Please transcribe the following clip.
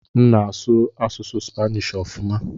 M na-asụ asụsụ Spanishi ọfuma.